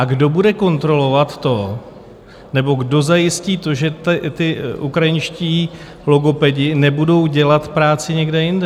A kdo bude kontrolovat to nebo kdo zajistí to, že ti ukrajinští logopedi nebudou dělat práci někde jinde?